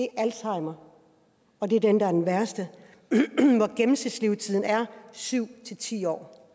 alzheimer og det er den værste hvor gennemsnitslevetiden er syv ti år